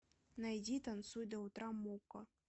найди танцуй до утра мукка